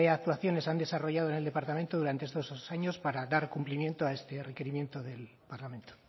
actuaciones se han desarrollado en el departamento durante estos dos años para dar cumplimiento a este requerimiento del parlamento